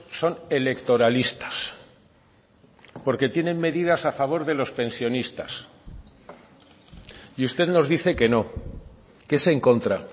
son electoralistas porque tienen medidas a favor de los pensionistas y usted nos dice que no que es en contra